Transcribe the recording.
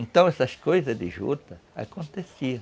Então essas coisas de juta aconteciam.